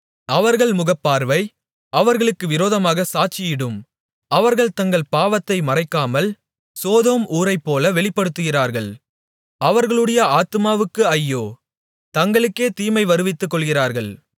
அவர்கள் முகப்பார்வை அவர்களுக்கு விரோதமாகச் சாட்சியிடும் அவர்கள் தங்கள் பாவத்தை மறைக்காமல் சோதோம் ஊராரைப்போல வெளிப்படுத்துகிறார்கள் அவர்களுடைய ஆத்துமாவுக்கு ஐயோ தங்களுக்கே தீமையை வருவித்துக்கொள்கிறார்கள்